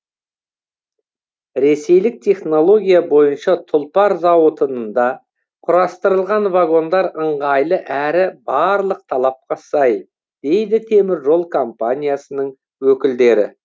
ресейлік технология бойынша тұлпар зауытында құрастырылған вагондар ыңғайлы әрі барлық талапқа сай дейді теміржол компаниясының өкілдері